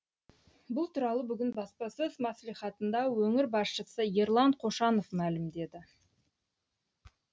бұл туралы бүгін баспасөз мәслихатында өңір басшысы ерлан қошанов мәлімдеді